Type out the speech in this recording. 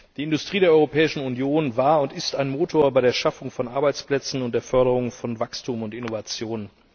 Die Industrie der Europäischen Union war und ist ein Motor bei der Schaffung von Arbeitsplätzen und der Förderung von Wachstum und Innovation.